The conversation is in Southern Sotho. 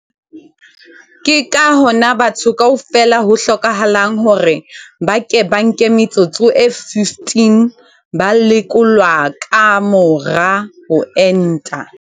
Ke ka hona batho kaofela ho hlokahalang hore ba ke ba nke metsotso e 15 ba lekolwa ka mora ho enta.